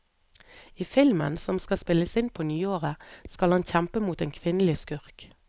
I filmen, som skal spilles inn på nyåret, skal han kjempe mot en kvinnelig skurk.